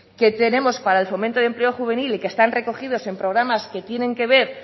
que tenemos para el fomento del empleo juvenil y que están recogidos en programas que tienen que ver